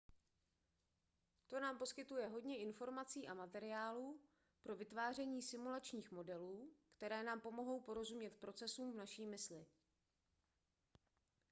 to nám poskytuje hodně informací a materiálu pro vytváření simulačních modelů které nám pomohou porozumět procesům v naší mysli